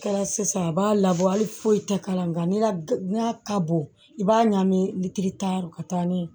Kɛra sisan a b'a labɔ hali foyi tɛ k'a la nka n'a ka bon i b'a ɲagami litiri tan yɔrɔ ka taa ni